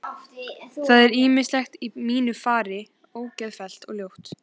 Það er ýmislegt í mínu fari ógeðfellt og ljótt.